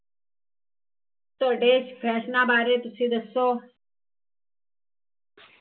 ਤੁਹਾਡੇ ਫੈਸ਼ਨਾ ਬਾਰੇ ਤੁਸੀਂ ਦੱਸੋ